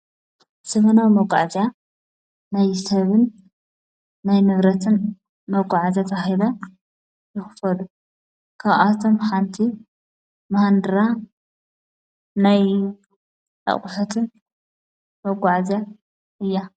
ዘበናዊ መጕዓጃ ናይ ሰብን ናይ ምብረትን መጕዓዚት ሂበ ይኽፈሉ ካብኣቶም ሓንቲ መሃንድራ ናይ ዕቝሐትን መጕዓዚ እያ።